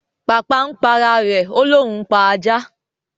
Pàpà ń p'ara rẹ o lòún pá àjá